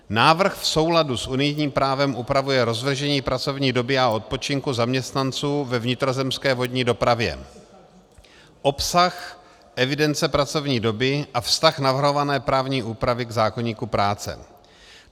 Návrh v souladu s unijním právem upravuje rozložení pracovní doby a odpočinku zaměstnanců ve vnitrozemské vodní dopravě, obsah evidence pracovní doby a vztah navrhované právní úpravy k zákoníku práce.